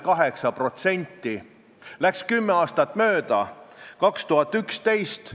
" 4. juulil kirjutas Sven Sester, et venekeelne haridus Eestis tuleb lõpetada, lasteaiad ja koolid olgu sajaprotsendiliselt eestikeelsed.